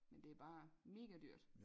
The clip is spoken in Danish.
Men det bare mega dyrt